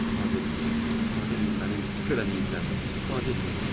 İstifadə eləyim, istifadə eləyim mənim körəliyimdən, istifadə eləyin.